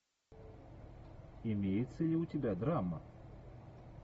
имеется ли у тебя драма